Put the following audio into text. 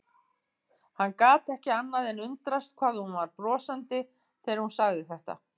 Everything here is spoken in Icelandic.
Hann gat ekki annað en undrast hvað hún var brosandi þegar hún sagði þetta.